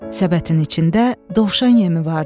Səbətin içində dovşan yemi vardı.